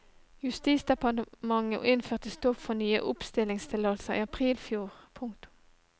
Justisdepartementet innførte stopp for nye oppstillingstillatelser i april i fjor. punktum